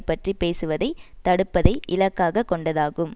பற்றி பேசுவதை தடுப்பதை இலக்காக கொண்டதாகும்